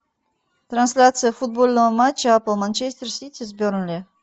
трансляция футбольного матча апл манчестер сити с бернли